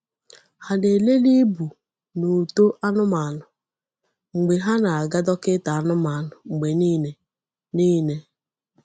Ha na-elele ibu na uto anụmanụ mgbe ha na-aga dọkịta anụmanụ mgbe niile. niile.